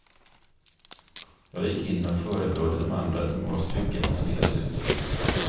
Jag gick in och förebrådde de andra att de var stygga mot sin lillasyster.